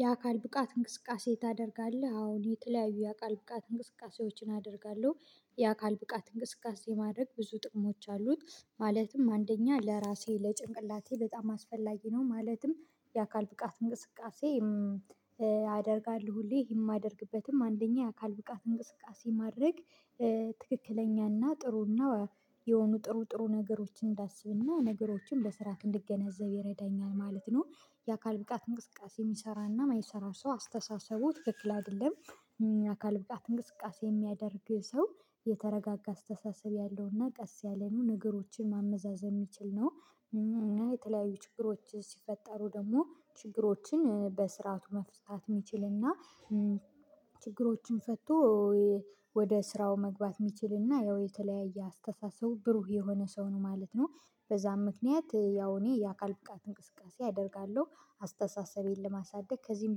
የአካል ብቃት እንቅስቃሴ ታደርጋለህ አዎን የተለያዩ የአካል ብቃት እንቅስቃሴዎችን አደርጋለሁ የአካል ብቃት እንቅስቃሴ ማድረግ ብዙ ጥቅሞች አሉት ማለትም አንደኛ ለራሴ ለጭንቅላቴ በጣም አስፈላጊ ነው ማለትም የአካል ብቃት እንቅስቃሴ አደርጋለሁ ሁሌ ይሄ የማደርግበትም አንደኛ የአካል ብቃት እንቅስቃሴ ማድረግ ትክክለኛና ጥሩና የሆኑ ጥሩ ጥሩ ነገሮችን እንዳስብና ነገሮችን በስራት እንድገነዘብ ይረዳኛል ማለት ነው። የአካል ብቃት እንቅስቃሴ የሚሰራና የማይሰራ ሰው አስተሳሰቡ ትክክል አይደለም። አካል ብቃት እንቅስቃሴ የሚያደርግ ሰው የተረጋጋ አስተሳሰብ ያለውና ቀስ ያለ ነው ነገሮችን ማመዛዘን የሚችል ነው እና የተለያዩ ችግሮች ሲፈጠሩ ደግሞ ችግሮችን በስርዓቱ መፍታት የሚችልና ችግሮችን ፈቶ ወደ ስራው መግባት የሚችልና ያው የተለያየ አስተሳሰቡ ብሩህ የሆነ ሰው ነው ማለት ነው። በዛም ምክንያት ያው እኔ የአካል ብቃት እንቅስቃሴ አደርጋለሁ አስተሳሰቤን ለማሳደግ ከዚህም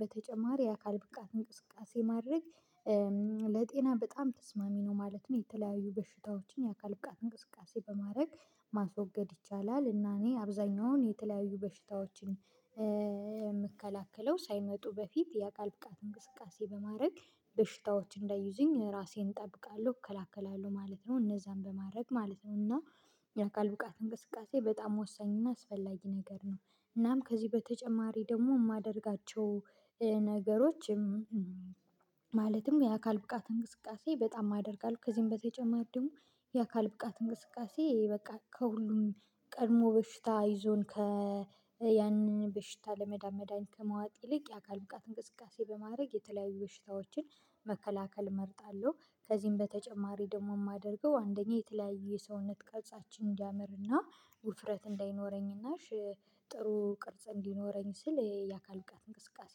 በተጨማሪ የአካል ብቃት እንቅስቃሴ ማድረግ ለጤና በጣም ተስማሚ ነው ማለት ነው። የተለያዩ በሽታዎችን የአካል ብቃት እንቅስቃሴ በማድረግ ማስወገድ ይቻላል እና እኔ አብዛኛውን የተለያዩ በሽታዎችን የምከላከለው ሳይመጡ በፊት የአካል ብቃት እንቅስቃሴ በማድረግ በሽታዎች እንዳይዙኝ ራሴን እጠብቃለሁ እከላከላለሁ ማለት ነው እነዛን በማድረግ ማለት ነው። እና የአካል በቃት እንቅስቃሴ በጣም ወሳኝና አስፈላጊ ነገር ነው። እናም ከዚህ በተጨማሪ ደግሞ የማደርጋቸው ነገሮችም ማለትም የአካል ብቃት እንቅስቃሴ በጣም አደርጋለሁ ከዚህም በተጨማሪ ደግሞ የአካል ብቃት እንቅስቃሴ በቃ ከሁሉም ቀድሞ በሽታ ይዞን ከ ያንን በሽታ ለመዳን መድሃኒት ከመዋጥ ይልቅ የአካል ብቃት እንቅስቃሴ በማድረግ የተለያዩ በሽታዎችን መከላከል እመርጣለሁ። ከዚህም በተጨማሪ ደግሞ የማደርገው አንደኛ የተለያዩ የሰውነት ቅርፃችን እንዲያምርና ውፍረት እንዳይኖረኝና ጥሩ ቅርጽ እንዲኖረኝ ሲል የአካል እቃ እንቅስቃሴ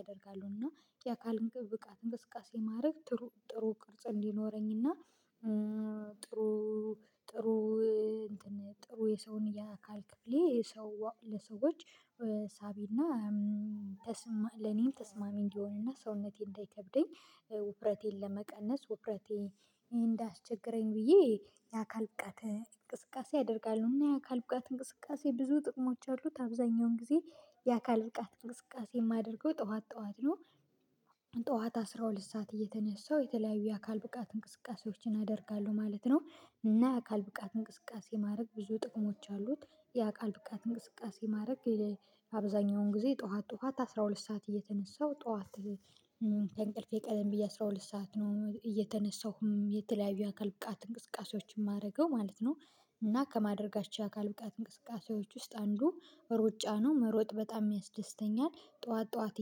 አደርጋሁ እና የአካል ብቃት እንቅስቃሴ ማድረግ ጥሩ ጥሩ ቅርጽ እንዲኖረኝ እና ጥሩ ጥሩ ጥሩ የሰውን ያ አካል ክፍሌ ሰው ለሰዎች ሳቢና ተስማ ለኔም ተስማሚ እንዲሆንና ሰውነቴን እንዳይከብደኝ ውፍረቴን ለመቀነስ ውፍረቴ እንዳያስቸግረኝ ብዬ የአካል ብቃት እንቅስቃሴአደርጋለሁ እና የአካል ብቃት እንቅስቃሴ ብዙ ጥቅሞች አሉት። አብዛኛውን ጊዜ የአካል ብቃት እንቅስቃሴ የማደርገው ጠዋት ጠዋት ነው አስራ ሁለት ሰዓት እየተነሳሁ የተለያዩ የአካል ብቃት እንቅስቃሴዎችን አደርጋለሁ ማለት ነው። እና የአካል ብቃት እንቅስቃሴ ማድረግ ብዙ ጥቅሞች አሉት የአካል ብቃት እንቅስቃሴ ማድረግ አብዛኛውን ጊዜ ጠዋት ጠዋት አስራ ሁለት ሰዓት እየተነሳሁ ጠዋት ከእንቅልፌ ቀደም ብዬ አስራ ሁለት ሰዓት ነው እየተነሳሁም የተለያዩ አካል ብቃት እንቅስቃሴዎችን ማረገው ማለት ነው። እና ከማደርጋቸው የአካል ብቃት እንቅስቃሴዎች ውስጥ አንዱ ሩጫ ነው መሮጥ በጣም ያስደስተኛል ጠዋት ጠዋት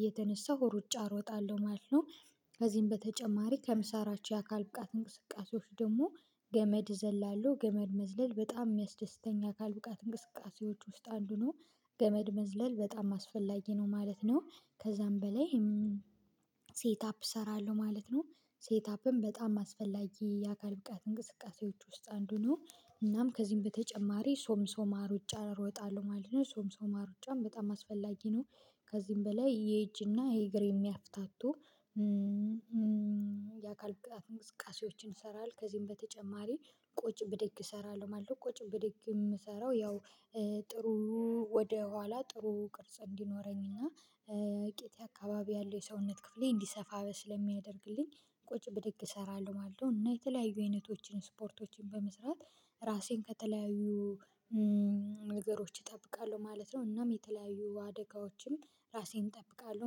እየተነሳሁ ሩጫ እሮጣለሁ ማለት ነው። ከዚህም በተጨማሪ ከምሰራቸው የአካል ብቃት እንቅስቃሴዎች ደግሞ ገመድ ዘላለሁ ገመድ መዝለል በጣም የሚያስደስተኛ የአካል ብቃት እንቅስቃሴዎች ውስጥ አንዱ ነው። ገመድ መዝለል በጣም አስፈላጊ ነው ማለት ነው ከዛም በላይ ሴት አፕ እሰራለሁ ማለት ነው። ሴት አፕም በጣም አስፈላጊ የአካል ብቃት እንቅስቃሴዎች ውስጥ አንዱ ነው እናም ከዚህም በተጨማሪ ሶም ሶማር ሩጫ ሮጣለሁ ማለት ነው ሶምሶማ ሩጫም በጣም አስፈላጊ ነው። ከዚህም በላይ የእጅና የእግር የሚያፍታቱ የአካል ብቃት እንቅስቃሴዎችን እሰራለሁ ከዚህም በተጨማሪ ቁጭ ብድግ እሰራለሁ ማለት ነው። ቁጭ ብድግ የምሰራው ያው ጥሩ ወደ ኋላ ጥሩ ቅርጽ እንዲኖረኝ እና ቂጤ አካባቢ ያለው የሰውነት ክፍሌ እንዲሰፋ ስለሚያደርግልኝ ቁጭ ብድግ እሰራለሁ ማለት ነው። እና የተለያዩ አይነቶችን ስፖርቶችን በመስራት ራሴን ከተለያዩ ነገሮች እጠብቃለሁ ማለት ነው። እናም የተለያዩ አደጋዎችም ራሴን እጠብቃለሁ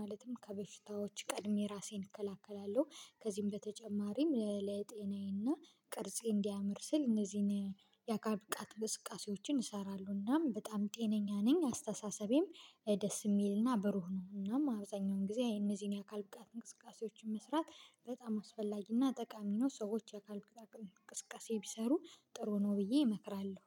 ማለትም ከበሽታዎች ቀድሜ ራሴን እከላከላለሁ። ከዚህም በተጨማሪም ለለጤናዬና ቅርጼ እንዲያምር ስል እነዚህን ያካል ብቃት እንቅስቃሴዎችን እሰራለሁና በጣም ጤነኛ ነኝ አስተሳሰቤም ደስ የሚልና ብሩህ ነው እናም አብዛኛውን ጊዜ እነዚህን የአካል ብቃት እንቅስቃሴዎችን መስራት በጣም አስፈላጊና ጠቃሚ ነው። ሰዎች ያካል ብቃት እንቅስቀሴ ቢሰሩ ጥሩ ነው ብዬ እመክራለሁ